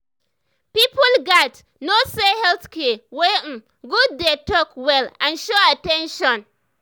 people gats know say health care wey um good dey talk well and show at ten tion.